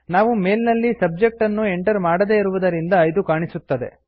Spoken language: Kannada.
ನಾವು ಮೇಲ್ ನಲ್ಲಿ ಸಬ್ಜೆಕ್ಟ್ ಅನ್ನು ಎಂಟರ್ ಮಾಡದೇ ಇರುವುದರಿಂದ ಇದು ಕಾಣಿಸುತ್ತದೆ